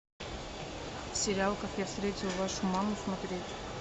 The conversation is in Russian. сериал как я встретил вашу маму смотреть